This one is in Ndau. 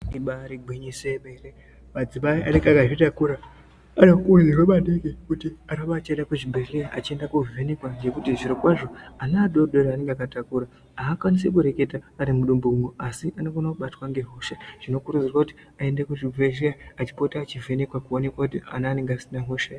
Imbari igwinyiso remene madzimai anenge akazvitakura anokurudzirwa kuti arambe achienda kuzvibhedhlera achienda kuno vhenekwa nekuti zviro kwazvo ana adodori aanenge akatakura hakwanisi kureketa ari mudumbu umu asi anobatwa nehosha zvinokuridzirwa kuti aende kuzvibhedhlera achipota achivhenekwe kuti awonekwe kuti ana anonga asina hosha here.